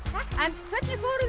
en hvernig fóruð þið